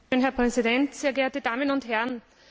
Herr Präsident, sehr geehrte Damen und Herren!